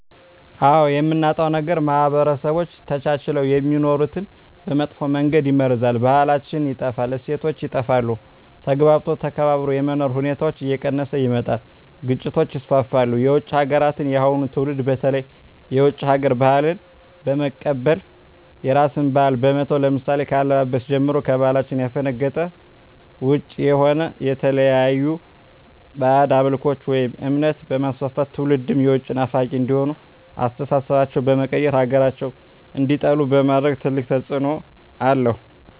አዎ የምናጣው ነገር ማህበረሰቦች ተቻችለው የሚኖሩትን በመጥፎ መንገድ ይመርዛል , ባህላችን ይጠፋል, እሴቶች ይጠፋሉ, ተግባብቶ ተከባብሮ የመኖር ሁኔታዎች እየቀነሰ ይመጣል ግጭቶች ይስፋፋሉ። የውጭ ሀገራትን የአሁኑ ትውልድ በተለይ የውጭ ሀገር ባህልን በመቀበል የራስን ባህል በመተው ለምሳሌ ከአለባበስ ጀምሮ ከባህላችን ያፈነገጠ ውጭ የሆነ የተለያዩ ባህድ አምልኮቶችን ወይም እምነት በማስፋፋት ትውልድም የውጭ ናፋቂ እንዲሆኑ አስተሳሰባቸው በመቀየር ሀገራቸውን እንዲጠሉ በማድረግ ትልቅ ተፅዕኖ አለው።